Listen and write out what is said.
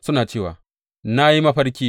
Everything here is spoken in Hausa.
Suna cewa, Na yi mafarki!